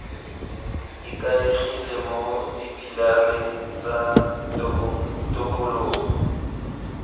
ikaegile mo dipilareng tsa tokologo